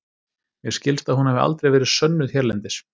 Mér skilst að hún hafi aldrei verið sönnuð hérlendis.